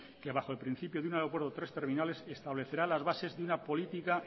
que bajo el principio de un aeropuerto tres terminales establecerá las bases de una política